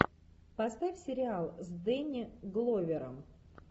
поставь сериал с дэнни гловером